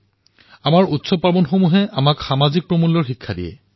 আমাৰ পৰ্ব উৎসৱসমূহে আমাক সামাজিক মূল্যৰো শিক্ষা প্ৰদান কৰে